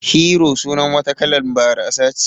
Hero sunar wata kalan barasa ce